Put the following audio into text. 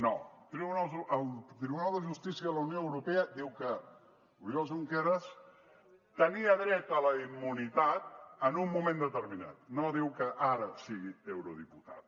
no el tribunal de justícia de la unió europea diu que oriol junqueras tenia dret a la immunitat en un moment determinat no diu que ara sigui eurodiputat